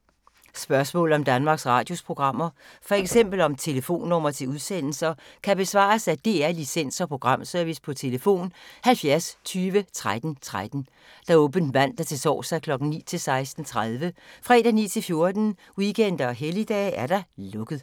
Spørgsmål om Danmarks Radios programmer, f.eks. om telefonnumre til udsendelser, kan besvares af DR Licens- og Programservice: tlf. 70 20 13 13, åbent mandag-torsdag 9.00-16.30, fredag 9.00-14.00, weekender og helligdage: lukket.